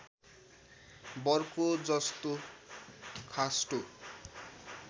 Bercow जोस्तो खास्टो